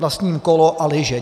Vlastním kolo a lyže.